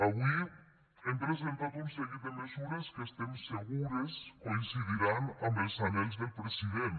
avui hem presentat un seguit de mesures que estem segures que coincidiran amb els anhels del president